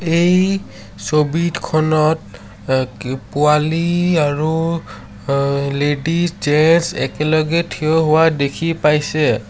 এই ছবিতখনত অ কি পোৱালি আৰু আ লেডিজ জেছ একেলগে থিয় হোৱা দেখি পাইছে।